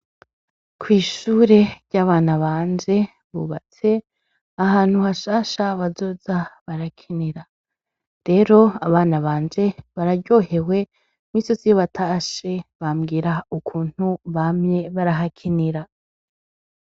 Kw'ishure ry'abana banje, bubatse ahantu hashasha abana bazoza barakinira. Rero, abana banje bararyohewe cane, iminsi yose iyo batashe bambwira ukuntu bamye barahakinira.